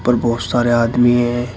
और बहोत सारे आदमी हैं।